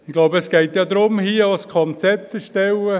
Ich glaube, es geht hier auch darum, ein Konzept zu erstellen.